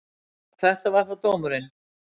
Svo þetta var þá dómurinn.